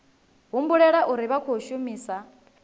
humbulela uri vha khou shumisa